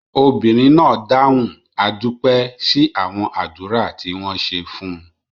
Obìnrin náà dáhùn "a dúpẹ́" sí àwọn àdúrà tí wọ́n ṣe fún.